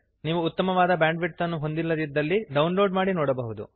ನೀವು ಉತ್ತಮವಾದ ಬ್ಯಾಂಡ್ವಿಡ್ತ್ ಅನ್ನು ಹೊಂದಿಲ್ಲದಿದ್ದರೆ ಡೌನ್ಲೋಡ್ ಮಾಡಿ ನೋಡಬಹುದು